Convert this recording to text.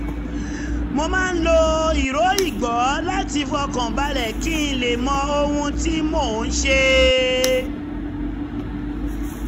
mo máa ń lo ìró igbó láti fọkàn balẹ̀ kí n lè mọ ohun tí mo ń ṣe